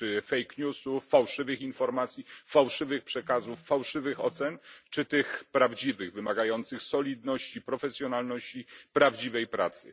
Czy fake newsów fałszywych informacji, fałszywych przekazów, fałszywych ocen, czy tych prawdziwych, wymagających solidności, profesjonalizmu, prawdziwej pracy?